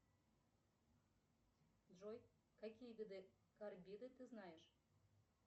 джой какие виды карбиды ты знаешь